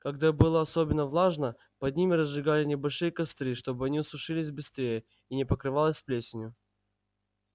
когда было особенно влажно под ними разжигали небольшие костры чтобы они сушились быстрее и не покрывалось плесенью